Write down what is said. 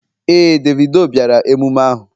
Ee, Davido bịara emume ahụ.